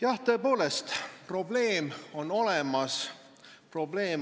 Jah, tõepoolest on probleem olemas.